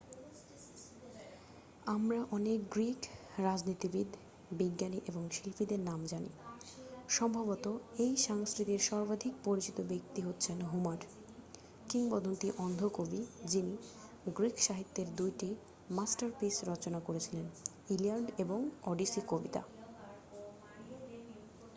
আমরা অনেক গ্রীক রাজনীতিবিদ বিজ্ঞানী এবং শিল্পীদের জানি সম্ভবত এই সংস্কৃতির সর্বাধিক পরিচিত ব্যক্তি হচ্ছেন হোমার কিংবদন্তি অন্ধ কবি যিনি গ্রীক সাহিত্যের 2 টি মাস্টারপিস রচনা করেছিলেন ইলিয়াড এবং ওডিসি কবিতা